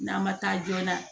N'a ma taa joona